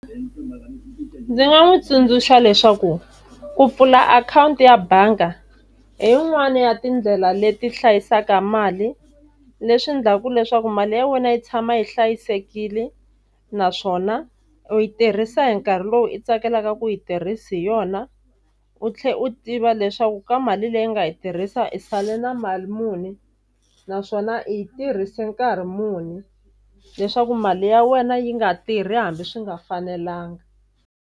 Ndzi nga n'wi tsundzuxa leswaku ku pfula akhawunti ya bangi hi yin'wani ya tindlela leti hlayisaka mali, leswi endlaku leswaku mali ya wena yi tshama yi hlayisekile naswona u yi tirhisa hi nkarhi lowu i tsakelaka ku yi tirhisa hi yona, u tlhela u tiva leswaku ka mali leyi u nga yi tirhisa i sale na mali muni naswona i yi tirhise nkarhi muni leswaku mali ya wena yi nga tirhi hambi swi nga fanelanga.